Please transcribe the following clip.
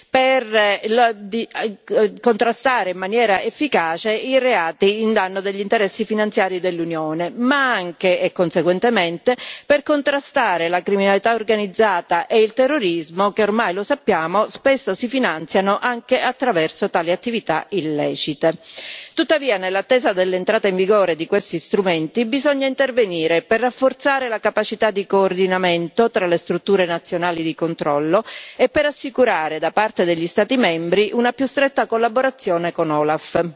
per contrastare in maniera efficace i reati a danno degli interessi finanziari dell'Unione, ma anche, e conseguentemente, per contrastare la criminalità organizzata e il terrorismo che, ormai lo sappiamo, spesso si finanziano anche attraverso tali attività illecite. Tuttavia, nell'attesa dell'entrata in vigore di questi strumenti, occorre intervenire per rafforzare la capacità di coordinamento tra le strutture nazionali di controllo e per assicurare, da parte degli Stati membri, una più stretta collaborazione con l'OLAF,